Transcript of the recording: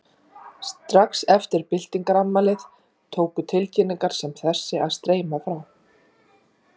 Strax eftir byltingarafmælið tóku tilkynningar sem þessi að streyma frá